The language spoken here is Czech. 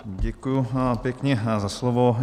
Děkuji pěkně za slovo.